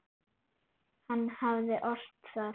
Hann hafði ort það.